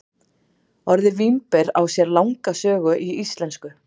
Orðið vínber á sér langa sögu í íslensku.